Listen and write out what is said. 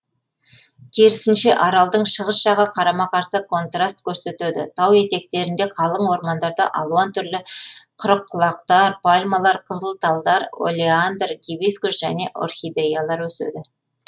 керсінше аралдың шығыс жағы қарама қарсы контраст көрсетеді тау етектерінде қалың ормандарда алуан түрлі қырыққұлақтар пальмалар қызыл талдар олеандр гибискус және орхидеялар өседі